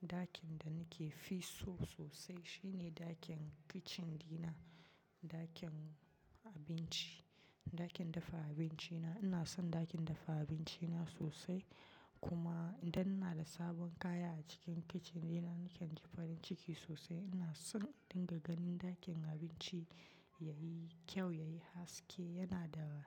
Dakin da nake fi so sosai shine ɗakin kitchen dina, ɗakin abinci, ɗakin dafa abinci na. Ina son ɗakin dafa abinci na sosai kuma idan ina da sabon kaya a cikin kitchen dina nake jin farin ciki sosai. Ina son in dinga ganin ɗakin abinci yayi kyau, yayi haske, yana da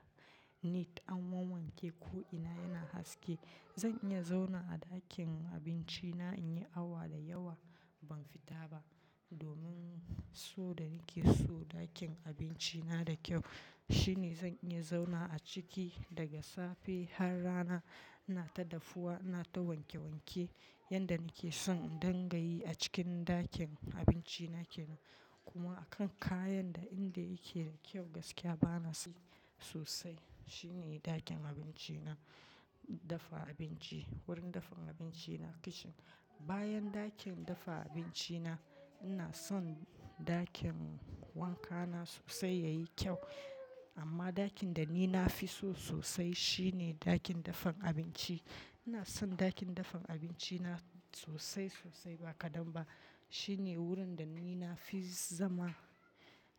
neat, an wanke ko'ina yana haske. Zan iya zauna a ɗakin abinci na in yi awa dayawa ban fita ba domin so da nake so ɗakin abinci na da kyau. Shine zan iya zauna a ciki daga safe har rana. Ina ta dafuwa, ina ta wanke wanke. Yanda nake son in dingayi a cikin ɗakin abinci na kenan. Kuma a kan kayan da inda yake da kyau gaskiya bana son sosai shine ɗakin abinci na, dafa abinci, wurin dafan abinci na kitchen. Bayan ɗakin dafa abinci na, ina son ɗakin wanka na sosai yayi kyau. Amma ɗakin da ni nafi so sosai shine ɗakin dafan abinci. Ina son ɗakin dafan abinci na sosai sosai ba kadan ba. Shine wurin da ni nafi zama.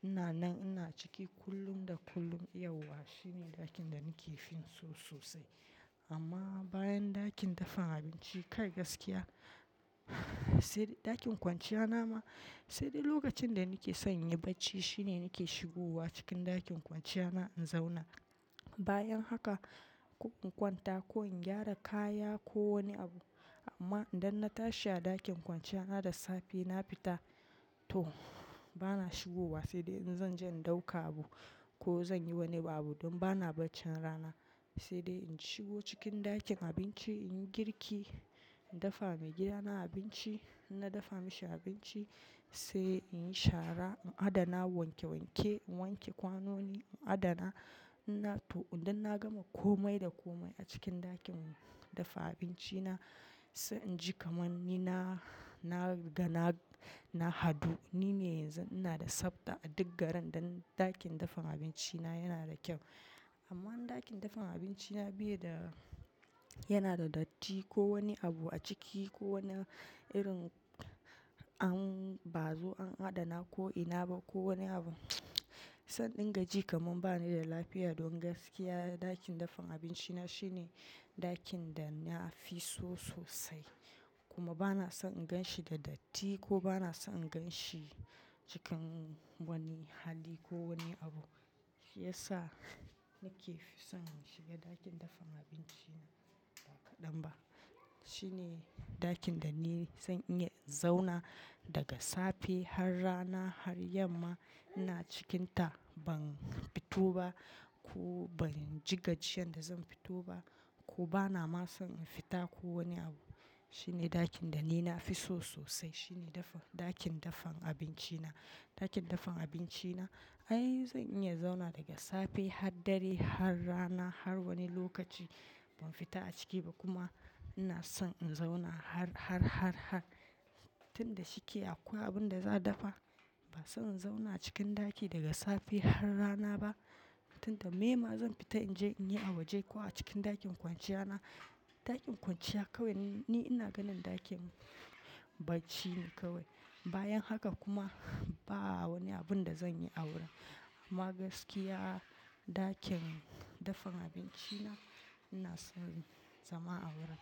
Ina nan ina ciki kullum da kullum, yauwa shine ɗakin da nake fin so sosai. Amma bayan ɗakin dafan abinci kai gaskiya sai dai ɗakin kwanciya na ma sai dai lokacin da nake son in yi barci shine nake shigowa cikin ɗakin kwanciya na in zauna. Bayan haka in kwanta ko in gyara kaya ko wani abu amma idan na tashi a ɗakin kwanciya na da safe na fita, toh bana shigowa sai dai in zan je in ɗauka abu ko zan yi wani abu don bana bacci rana. Sai dai in shigo cikin ɗakin abinci, in yi girki, in dafa wa maigida na abinci. In na dafa mashi abinci sai in yi shara, in adana wanke wanke, in wanke kwanoni, in adana. Ina toh idan na gama komai da komai a cikin ɗakin dafa abinci na sai inji kamar ni na, na ga na, na haɗu. Ni ne yanzu ina da tsafta a duk garin dan ɗakin dafan abinci na yana da kyau. Amma in ɗakin dafan abinci na biye da yana da datti ko wani abu a ciki ko wani irin an bazu, an adana ko'ina ba ko wani abu sai na dinga ji kamar bani da lafiya. Don gaskiya ɗakin dafan abinci na shine ɗakin da nafi so sosai, kuma bana son in gan shi da datti ko bana son in gan shi cikin wani hali ko wani abu. Shi ya sa nake fi son in shiga ɗakin dafan abinci na ba kadan ba. Shine ɗakin da ni zan iya zauna daga safe har rana har yamma. Ina cikinta ban fito ba, ko ban ji gajiyar da zan fito ba, ko bana ma son in fita ko wani abu. Shine ɗakin da ni nafi so sosai shine dafan-- ɗakin dafan abinci na. Ɗakin dafan abinci na ai zan iya zauna daga safe har dare har rana har wani lokaci ban fita a ciki ba kuma ina son in zauna har, har, har, har tunda shike akwai abun da za'a dafa. Ba sai in zauna a cikin ɗaki daga safe har rana ba. Tunda me ma zan fita in je in yi a waje ko a cikin ɗakin kwanciya na. Ɗakin kwanciya kawai ni ina ganin ɗakin bacci ne kawai. Bayan haka kuma ba wani abun da zan yi a wurin. Amma gaskiya ɗakin dafan abinci na, ina son zama a wurin.